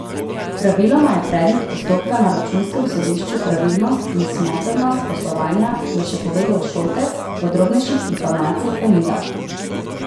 Praviloma je predmet postopka na računskem sodišču pravilnost in smotrnost poslovanja, je še povedal Šoltes, podrobnejših informacij pa ni dal.